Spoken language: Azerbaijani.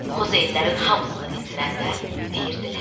Xozenlərin hamısını dindirəndə deyirdilər: